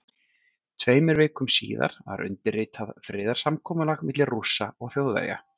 Tveimur vikum síðar var undirritað friðarsamkomulag milli Rússa og Þjóðverja.